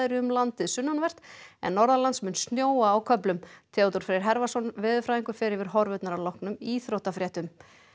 um landið sunnanvert en norðanlands mun snjóa á köflum Theodór Freyr veðurfræðingur fer yfir horfurnar að loknum íþróttafréttum